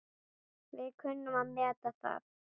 Við kunnum að meta það.